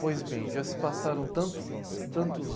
Pois bem, já se passaram tanto, tantos